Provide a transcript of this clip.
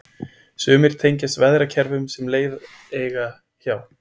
Sumar tengjast veðrakerfum sem leið eiga hjá.